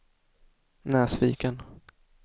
Näsviken